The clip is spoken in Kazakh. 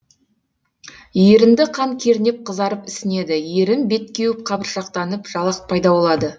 ерінді қан кернеп қызарып ісінеді ерін бет кеуіп қабыршықтанып жалақ пайда болады